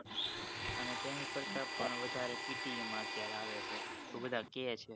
એને તેની કરતા પણ વધારે PTE માં અત્યારે આવે છે એવું બધા કે છે